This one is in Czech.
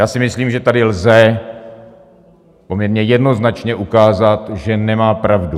Já si myslím, že tady lze poměrně jednoznačně ukázat, že nemá pravdu.